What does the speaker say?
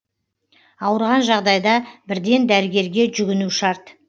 ауырған жағдайда бірден дәрігерге жүгіну шарт